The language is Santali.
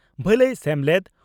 ᱵᱷᱟᱞᱟᱭ ᱥᱮᱢᱞᱮᱫ, ᱾